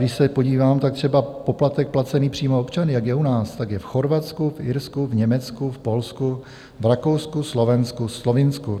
Když se podívám, tak třeba poplatek placený přímo občany, jako je u nás, tak je v Chorvatsku, v Irsku, v Německu, v Polsku, v Rakousku, Slovensku, Slovinsku.